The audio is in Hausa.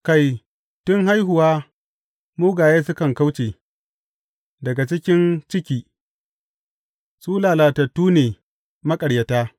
Kai, tun haihuwa mugaye sukan kauce; daga cikin ciki, su lalatattu ne maƙaryata.